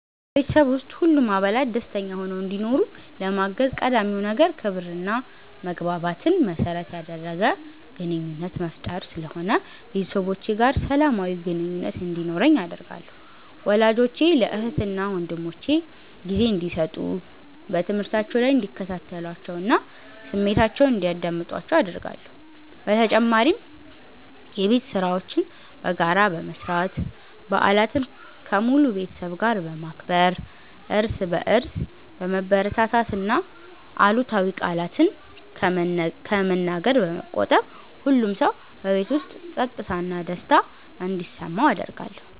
በቤተሰብ ውስጥ ሁሉም አባላት ደስተኛ ሆነው እንዲኖሩ ለማገዝ ቀዳሚው ነገር ክብርና መግባባትን መሠረት ያደረገ ግንኙነት መፍጠር ስለሆነ ቤተሰቦቼ ጋር ሰላማዊ ግንኙነት እንዲኖረኝ አደርጋለሁ። ወላጆቼ ለእህትና ወንድሞቼ ጊዜ እንዲሰጡ፣ በትምህርታቸው ላይ እንዲከታተሏቸውና ስሜታቸውን እንዲያዳምጡአቸው አደርጋለሁ። በተጨማሪም የቤት ሥራዎችን በጋራ በመስራት፣ በዓላትን ከሙሉ ቤተሰብ ጋር በማክበር፣ እርስ በርስ በመበረታታትና አሉታዊ ቃላትን ከመነገር በመቆጠብ ሁሉም ሰው በቤት ውስጥ ፀጥታና ደስታ እንዲሰማው አደርጋለሁ።